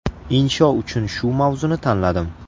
Insho uchun shu mavzuni tanladim.